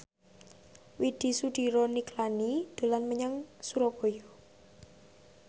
Widy Soediro Nichlany dolan menyang Surabaya